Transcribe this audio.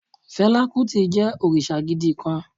Fela Kuti jẹ́ òrìṣà gidi kan